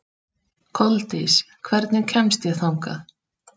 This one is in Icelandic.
Koldís, hvernig kemst ég þangað?